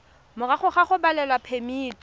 morago ga go abelwa phemiti